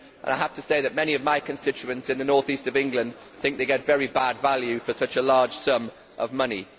I have to say that many of my constituents in the North East of England think they get very bad value for such a large sum of money.